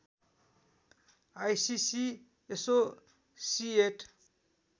ICC associate